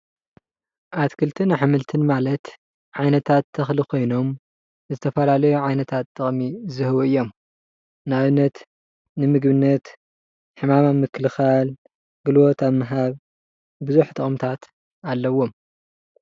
ኣትክልትን ኣሕምልትን ማለት ዓይነታት ተኽሊ ኾይኖም ዝተፈላለዩ ዓይነታትጥቕሚ ዝህቡ እዮም፡፡ ንኣብነት ንምግብነት፣ ሕማም ኣብ ምክልኻል፣ ጉልበት ኣብ ምሃብ ብዙሕ ጥቕምታት ኣለዎም፡፡